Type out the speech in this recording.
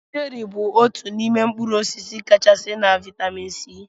Cheri bụ otú n'ime mkpụrụ osisi kachasị na vitamin C.